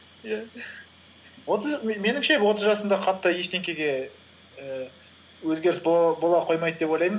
иә меніңше отыз жасымда қатты ештеңеге і өзгеріс бола қоймайды деп ойлаймын